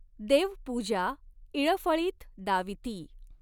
देवपूजा इळफळीत दाविती।